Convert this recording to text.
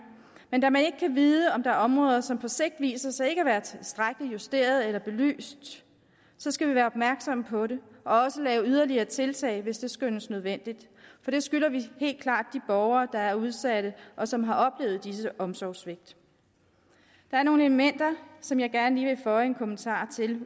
men da man ikke kan vide om der er områder som på sigt viser sig ikke at være tilstrækkeligt justeret eller belyst skal vi være opmærksomme på det og også lave yderligere tiltag hvis det skønnes nødvendigt for det skylder vi helt klart de borgere der er udsatte og som har oplevet disse omsorgssvigt der er nogle elementer som jeg gerne lige føje en kommentar til